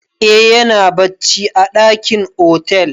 Eh ya na bacci a ɗakin otal.